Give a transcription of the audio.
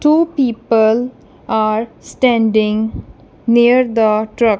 two people are standing near the truck.